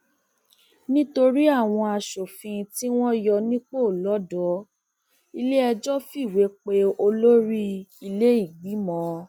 nítorí àwọn aṣòfin tí wọn yọ nípò lọdọ iléẹjọ fìwé pe olórí iléìgbìmọ